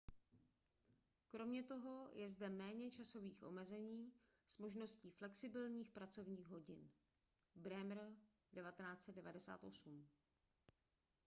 kromě toho je zde méně časových omezení s možností flexibilních pracovních hodin. bremer 1998